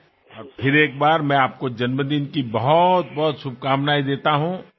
અને ફરી એક વાર હું આપને જન્મદિનની ખૂબ ખૂબ શુભેચ્છાઓ આપું છું